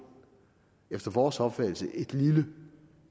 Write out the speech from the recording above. efter vores opfattelse et lille